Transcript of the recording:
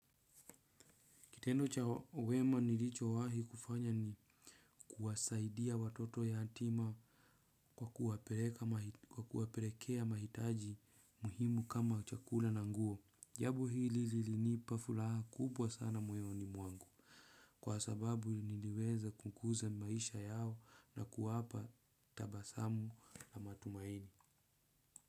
Kitendo cha wema nilicho wahi kufanya ni kuwasaidia watoto yatima kwa kuwaperekea mahitaji muhimu kama chakula na nguo. Jabo hili lilinipa furaha kubwa sana moyoni mwangu kwa sababu niliweza kukuza maisha yao na kuwapa tabasamu na matumaini.